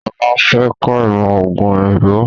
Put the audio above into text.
Sọlá fẹ́ kọ ìmọ̀ ọógún òyìnbó